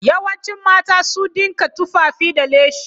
Yawancin mata su dinka tufafi da lacen.